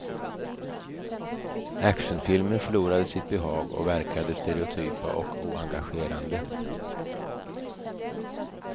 Actionfilmer förlorade sitt behag och verkade stereotypa och oengagerande.